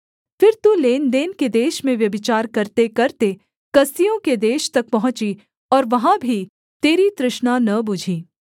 फिर तू लेनदेन के देश में व्यभिचार करतेकरते कसदियों के देश तक पहुँची और वहाँ भी तेरी तृष्णा न बुझी